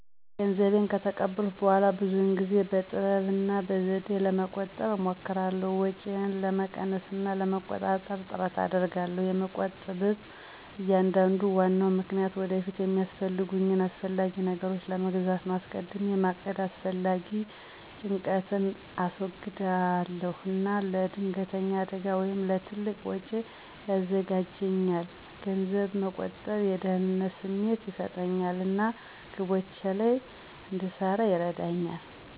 ገንዘቤን ከተቀበልኩ በኋላ ብዙውን ጊዜ በጥበብ እና በዘዴ ለመቆጠብ እሞክራለሁ። ወጪዬን ለመቀነስ እና ለመቆጣጠር ጥረት አደርጋለሁ። የምቆጥብበ አንዱና ዋናው ምክንያት ወደፊት የሚያስፈልጉኝን አስፈላጊ ነገሮች መግዛት ነው። አስቀድሜ ማቀድ አላስፈላጊ ጭንቀትን እንዳስወግድ እና ለድንገተኛ አደጋ ወይም ለትልቅ ወጪዎች ያዘጋጃልኛል። ገንዘብ መቆጠብ የደህንነት ስሜት ይሰጠኛል እና ግቦቼ ላይ እንድሰራ ይረዳኛል።